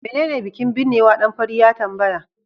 menene bikin binnewa? dan fari ya tambaya